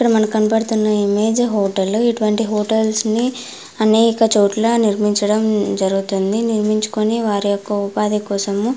ఇక్కడ మనకు కనపడుతున్న ఇమేజ్ హోటల్ ఇటువంటి హోటల్స్ ని అనేక చోట్ల నిర్మించడం జరుగుతుంది నిర్మించుకొని వారియొక్క ఉపాధికోసము --